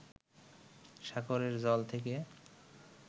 সাগরের জল থেকে